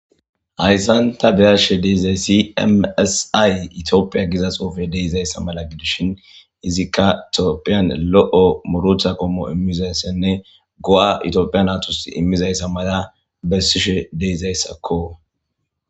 Hayssan ta be'ashe de'izayssi emi essi ay Itophphiya de'izayssa mala gidishin izikka Tophphiyan lo'o muuruta qommo immizayssanne go'a Itophphiya naytus immizayssa mala bessishe de'izayssako.